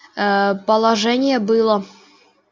аа положение было